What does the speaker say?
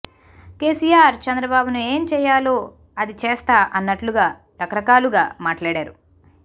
కేసీఆర్ చంద్రబాబును ఏం చేయాలో అది చేస్తా అన్నట్లుగా రకరకాలుగా మాట్లాడారు